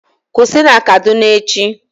Kusi na Kaduna echi!